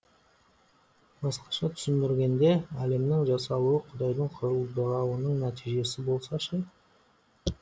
басқаша түсіндіргенде әлемнің жасалуы құдайдың құлдырауының нәтижесі болса ше